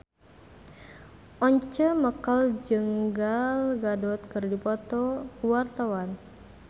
Once Mekel jeung Gal Gadot keur dipoto ku wartawan